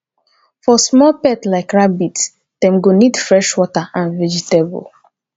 for small pets like rabbit dem go need fresh water and vegetable